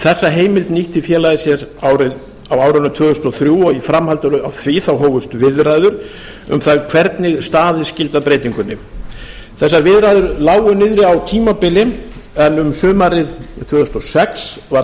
þessa heimild nýtti félagið sér á árinu tvö þúsund og þrjú og í framhaldi af því hófust viðræður um það hvernig staðið skyldi að breytingunni þessar viðræður lágu niðri á tímabili en um sumarið tvö þúsund og sex var